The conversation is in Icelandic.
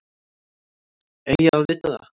Eiga að vita það.